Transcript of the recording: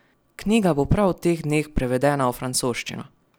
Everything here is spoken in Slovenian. Knjiga bo prav v teh dneh prevedena v francoščino.